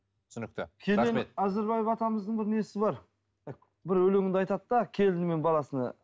түсінікті кенен әзірбаев атамыздың бір несі бар бір өлеңде айтады да келіні мен баласына